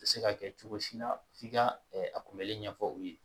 Se ka kɛ cogo si la f'i ka a kunbɛli ɲɛfɔ u ye